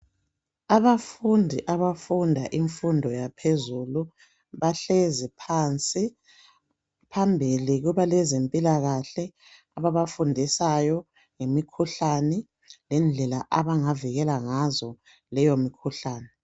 Abafundi abafunda imfundo yaphezulu bahlezi phansi . Phambili kulabezempilakhle ababafundisayo ngemikhuhlane lendlela abangavikela ngazo leyo mikhuhlane.